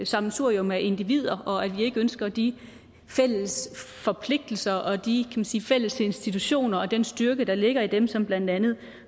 sammensurium af individer og at vi ikke ønsker de fælles forpligtelser og de man sige fælles institutioner og den styrke der ligger i dem som blandt andet